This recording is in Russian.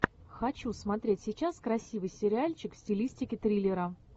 хочу смотреть сейчас красивый сериальчик в стилистике триллера